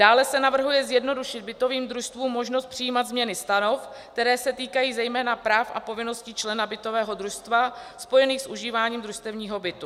Dále se navrhuje zjednodušit bytovým družstvům možnost přijímat změny stanov, které se týkají zejména práv a povinností člena bytového družstva spojených s užíváním družstevního bytu.